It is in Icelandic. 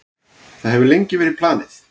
Það hefur verið lengi planið.